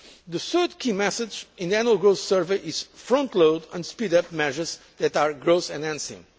The third key message in the Annual Growth Survey is to frontload and speed up measures that are growth enhancing.